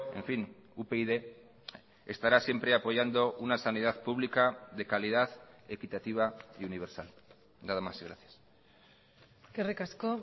en fin upyd estará siempre apoyando una sanidad pública de calidad equitativa y universal nada más y gracias eskerrik asko